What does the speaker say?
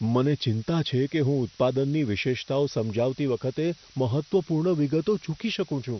મને ચિંતા છે કે હું ઉત્પાદનની વિશેષતાઓ સમજાવતી વખતે મહત્ત્વપૂર્ણ વિગતો ચૂકી શકું છું.